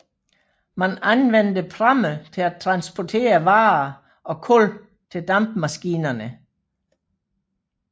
Man anvendte pramme til at transportere varer og kul til dampmaskinerne